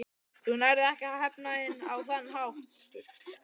Þú nærð ekki að hefna þín á þann hátt.